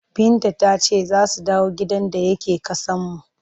Binta ta ce za su dawo gidan da yake ƙasanmu.